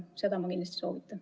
Seda ma kindlasti soovitan.